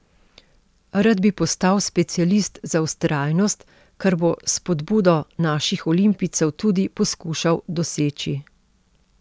Rad bi postal specialist za vztrajnost, kar bo s spodbudo naših olimpijcev tudi poskušal doseči.